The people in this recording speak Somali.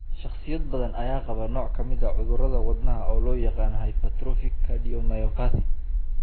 Shakhsiyaad badan ayaa qaba nooc ka mid ah cudurrada wadnaha oo loo yaqaan hypertrophic cardiomyopathy.